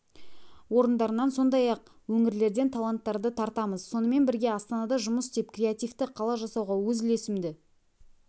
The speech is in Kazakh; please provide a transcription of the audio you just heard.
орындарынан сондай-ақ өңірлерден таланттарды тартамыз сонымен бірге астанада жұмыс істеп креативті қала жасауға өз үлесімді